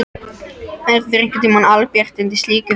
Verður einhverntíma albjart undir slíku fjalli?